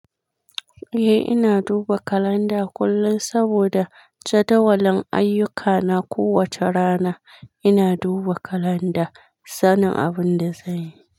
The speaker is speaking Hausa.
Eh, ina duba kalanda kullum saboda jadawalin ayyuka na kowacce rana ina duba kalanda, sanin abinda zanyi.